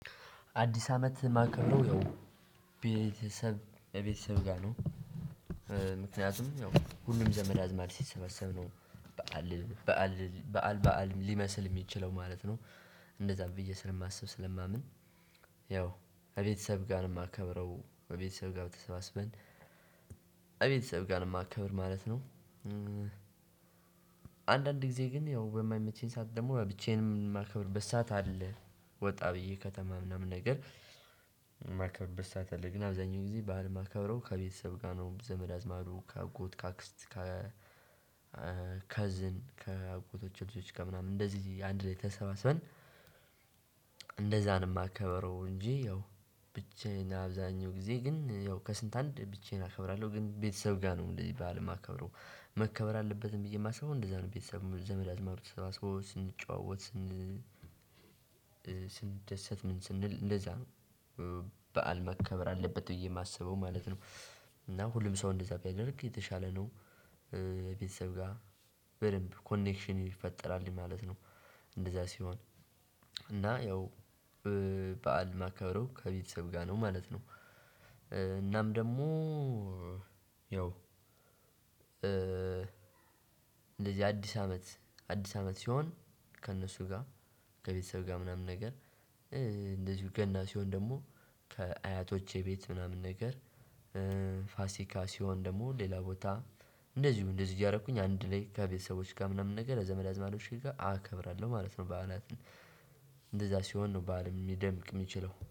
አዲስ አመት ማከብረው ያው ቤተሰብ እቤተሰብ ጋር ነው ምክንያቱም ያው ሁሉም ዘመድ አዝማድ ሲሰበሰብ ነው። በዓል በዓልል በዓል በዓል ሊመስል ሚችለው ማለት ነው። እንደዛ ብዬ ስለማስብ ስለማምን ያው ከቤተሰብ ጋር ነው ማከብረው በቤተሰብ ጋር ተሰባስበን። እቤተሰብ ጋር ነው ማከብር ማለት ነው። አንዳንድ ጊዜ ግን ያው በማይመቸኝ ሰዓት ደግሞ ብቻዬንም ማከብርበት ሰዓት አለ ወጣ ብዬ ከተማ ምናምን ነገር። ማከብርበት ሰዓት አለ ግን አብዛኛው ጊዜ በዓል ማከብረው ከቤተሰብ ጋር ነው። ዘመድ አዝማዱ ከአጎት ከአክስት ከከዝን ከአጎቶች ልጆች ከምናምን እንደዚህ አንድ ላይ ተሰባስበን። እንደዛ ነው ማከብረው እንጂ። ያው ብቻዬን አብዛኛው ጊዜ ግን ያው ከስንት አንድ ብቻዬን አከብራለሁ ግን ቤተሰብ ጋር ነው እንደዚህ በዓል እማከብረው። መከበር አለበትም ብዬ ማስበው እንደዛ ነው ቤተሰብ ዘመድ አዝማድ ተሰባስቦ ስንጨዋወት ስን ስንደሰት ምን ስንል እንደዛ ነው። በዓል መከበር አለበት ብዬ ማስበው ማለት ነው። እና ሁሉም ሰው እንደዛ ቢያደርግ የተሻለ ነው። ቤተሰብ ጋር በደንብ ኮኔክሽን ይፈጠራል ማለት ነው። እንደዚያ ሲሆን እና ያው በዓል ማከብረው ከቤተሰብ ጋር ነው ማለት ነው። እናም ደግሞ ያው እንደዚህ አዲስ አመት አዲስ አመት ሲሆን ከእነሱ ጋር ከቤተሰብ ጋር ምናምን ነገር። እንደዚሁ ገና ሲሆን ደግሞ ከአያቶቼ ቤት ምናምን ነገር። ፋሲካ ሲሆን ደግሞ ሌላ ቦታ። እንደዚሁ እንደዚሁ እያረኩኝ አንድ ላይ ከቤተሰቦች ጋር ምናምን ነገር ከዘመድ አዝማዶቼ ጋር አከብራለሁ ማለት ነው። በዓላትን እንደዛ ሲ ሲሆን ነው በዓልም ሚደምቅ ሚችለው